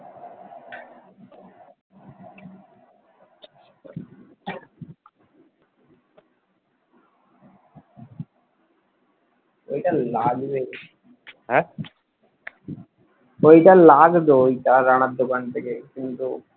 ওইটা লাগবে ঐটা লাগবে ওইটা রানা দোকান থেকে কিন্তু